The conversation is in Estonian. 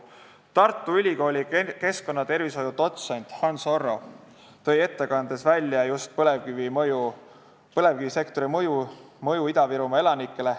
Tartu Ülikooli keskkonnatervishoiu dotsent Hans Orru tõi ettekandes välja just põlevkivisektori mõju Ida-Virumaa elanikele.